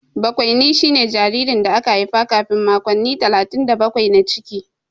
Bakwaini shine jaririn da aka haifa kafin makonni talatin da bakwai na ciki.